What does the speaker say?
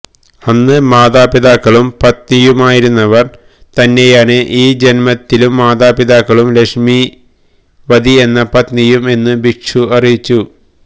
അന്ന് മാതാപിതാക്കളും പത്നിയുമായിരുന്നവർ തന്നെയാണ് ഈ ജന്മത്തി ലും മാതാപിതാക്കളും ലക്ഷ്മീവതി എന്ന പത്നിയും എന്ന് ഭിക്ഷു അറിയിച്ചു